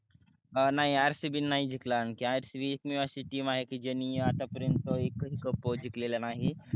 नाही rcb नाही जिकतला आणखि rcb एकमेव अशी team आहे ज्यानि आता पर्यन्त एक ही cup जिकलेला नाही.